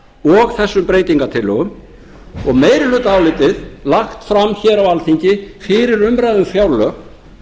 og þessum breytingartillögum og meirihlutaálitið lagt fram hér á alþingi fyrir umræðu um fjárlög